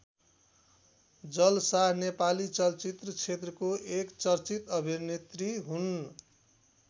जल शाह नेपाली चलचित्र क्षेत्रको एक चर्चित अभिनेत्री हुन्।